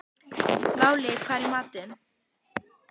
Váli, hvað er í matinn?